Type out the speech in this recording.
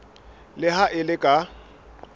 le ha e le ka